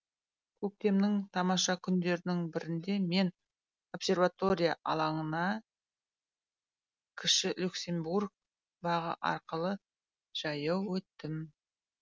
көктемнің тамаша күндерінің бірінде мен обсерватория алаңына кіші люксембург бағы арқылы жаяу өттім